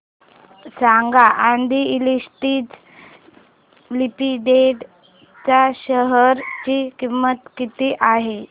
सांगा Aadi industries limited च्या share ची किंमत किती आहे